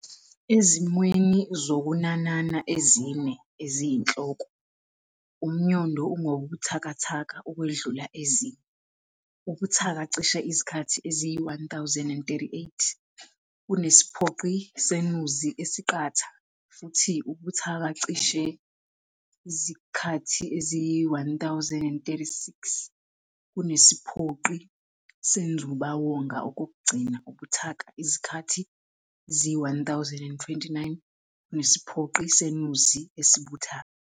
Ezimweni zokunanana ezine eziyinhloko, umnyondo ungobuthakathaka ukwedlula ezinye, ubuthaka cishe izikhathi eziyi-1038 kunesiphoqi seNuzi esiqatha, futhi ubuthaka cishe izikhathi eziyi-1036 kunesiphoqi seNzubawonga, okokugcina ubuthaka izikhathi eziyi-1029 kunesiphoqi seNuzi esibuthaka.